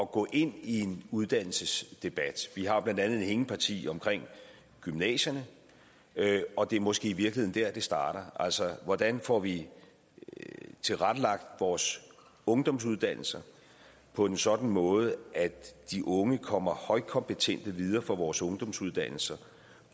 gå ind i en uddannelsesdebat til vi har blandt andet et hængeparti omkring gymnasierne og det er måske i virkeligheden der det starter altså hvordan får vi tilrettelagt vores ungdomsuddannelser på en sådan måde at de unge kommer højkompetente videre fra vores ungdomsuddannelser